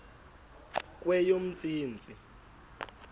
kweyomntsintsi